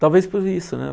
Talvez por isso, né?